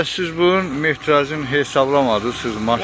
Bəs siz bu mehtrajı hesablamadınız, siz maşın?